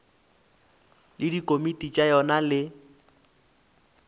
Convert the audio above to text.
le dikomiti tša yona le